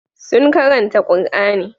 Sun karanta Qur'ani.